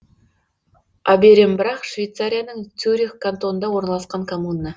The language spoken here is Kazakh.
оберембрах швейцарияның цюрих кантонында орналасқан коммуна